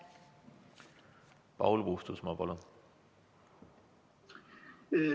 Paul Puustusmaa, palun!